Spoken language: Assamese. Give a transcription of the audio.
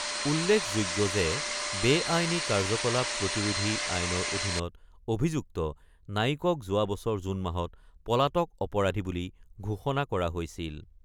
উল্লেখযোগ্য বে-আইনী কাৰ্যকলাপ প্ৰতিৰোধী আইনৰ অধীনত অভিযুক্ত নায়িকক যোৱা বছৰ জুন মাহত পলাতক অপৰাধী বুলি ঘোষণা কৰা হৈছিল।